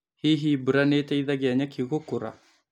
Hihi mbura nĩĩteithagia nyeki gũkũra.